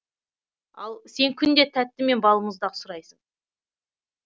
ал сен күнде тәтті мен балмұздақ сұрайсың